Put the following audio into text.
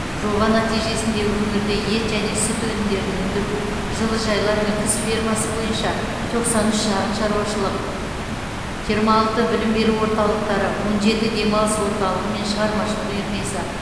жоба нәтижесінде өңірде ет және сүт өнімдерін өндіру жылыжайлар мен құс фермасы бойынша тоқсан үш шағын шаруашылық жиырма алты білім беру орталықтары он жеті демалыс орталығы мен шығармашылық үйірмесі